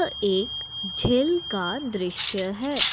एक झील का दृश्य है।